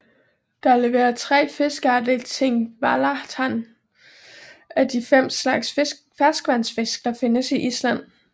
Der lever tre fiskearter i Thingvallavatn af de fem slags ferskvandsfisk der findes i Island